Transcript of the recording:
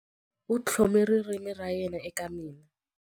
U tlhome ririmi ra yena eka mina.